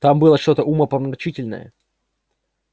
там было что-то умопомрачительное